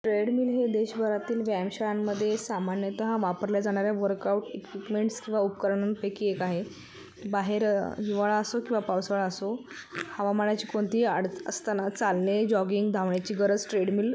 Treadmill हे देश भरातील व्यायाम शाळां मध्ये सामान्यतः वापरल्या जाणार्‍या वर्कआउट इक्युप्मेंट किंवा उपकरणां पैकी एक आहे. बाहेर हिवाळा असो किंवा पावसाळा असो हवामानाची कोणतीही अड-असताना चालणे जॉगिंग धावण्याची गरज ट्रेडमिल --